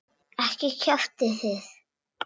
Ekki kjaftið þið.